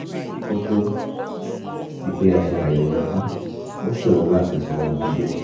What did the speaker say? kó tó di pé a ṣe àyẹ̀wò rẹ̀ tán ó ṣòro láti sọ ohun tó jẹ́